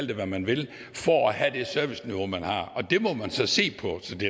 det hvad man vil for at have det serviceniveau man har og det må man så se på så det